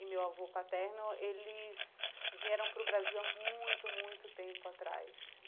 e meu avô paterno, eles vieram para o Brasil há muito, muito tempo atrás.